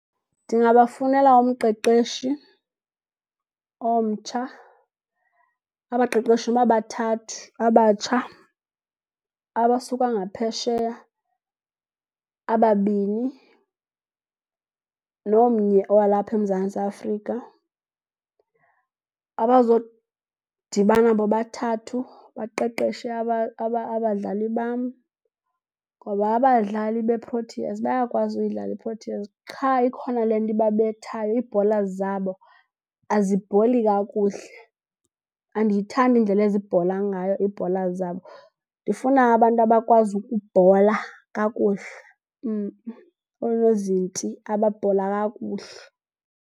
Ndingabafunela umqeqeshi omtsha, abaqeqeshi noba bathathu abatsha abasuka ngaphesheya ababini nomnye walapha eMzantsi Afrika. Abazodibana bobathathu baqeqeshe abadlali bam ngoba abadlali beProteas bayakwazi udlala iProteas, qha ikhona le nto ibabethayo. Ii-bowlers zabo azibhowuli. Kakuhle andiyithandi indlela ezibhowula ngayo ii-bowlers zabo. Ndifuna abantu abakwazi ukubhowula kakuhle . Onozinti ababhola kakuhle.